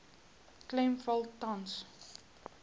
klem val tans